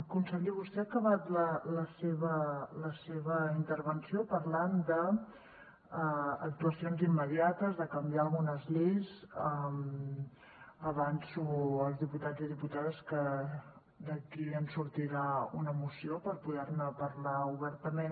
conseller vostè ha acabat la seva intervenció parlant d’actuacions immediates de canviar algunes lleis avanço als diputats i diputades que d’aquí en sortirà una moció per poder ne parlar obertament